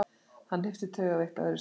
Hann hnippti taugaveiklaður í Stefán.